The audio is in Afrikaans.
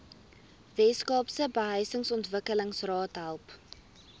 weskaapse behuisingsontwikkelingsraad help